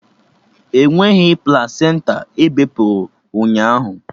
Enweghị plasenta ebepụrụ ụnyaahụ!